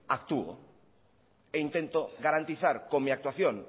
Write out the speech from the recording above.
actúo e intento garantizar con mi actuación